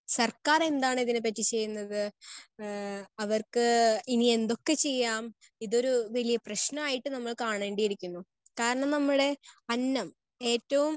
Speaker 1 സർക്കാർ എന്താണ് ഇതിനെപ്പറ്റി ചെയ്യുന്നത്? ഏഹ് അവർക്ക് ഇനി എന്തൊക്കെ ചെയ്യാം? ഇതൊരു വലിയ പ്രശ്നമായിട്ട് നമ്മൾ കാണേണ്ടിയിരിക്കുന്നു. കാരണം നമ്മുടെ അന്നം ഏറ്റവും